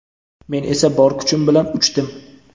men esa bor kuchim bilan uchdim.